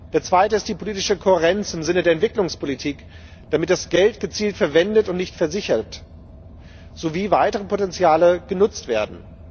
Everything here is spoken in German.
Der zweite ist die politische Kohärenz im Sinne der Entwicklungspolitik, damit das Geld gezielt verwendet wird und nicht versickert sowie weitere Potenziale genutzt werden.